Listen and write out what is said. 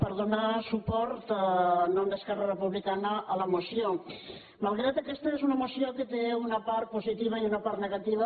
per donar suport en nom d’es·querra republicana a la moció malgrat que aquesta és una moció que té una part positiva i una part negativa